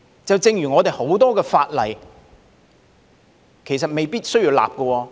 正如我們很多法例，其實未必需要立法。